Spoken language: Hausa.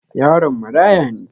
Yaron marãya ne.